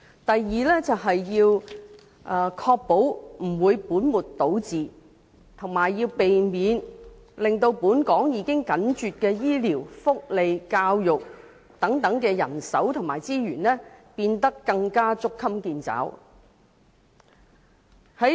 第二，要確保不會本末倒置，以及避免令本港已緊絀的醫療、福利和教育等人手和資源，變得更捉襟見肘。